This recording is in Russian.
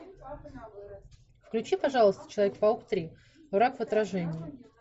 включи пожалуйста человек паук три враг в отражении